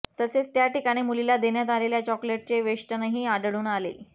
तसेच त्या ठिकाणी मुलीला देण्यात आलेल्या चॉकलेटचे वेष्टनही आढळून आले